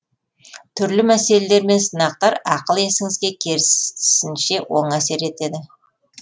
түрлі мәселелер мен сынақтар ақыл есіңізге кересінше оң әсер етеді